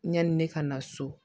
Yanni ne ka na so